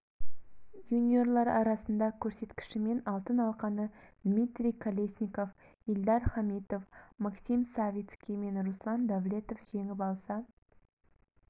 юниорлар арасында көрсеткішімен алтын алқаны дмитрий колесников ильдар хамитов максим савицкий мен руслан давлетов жеңіп алса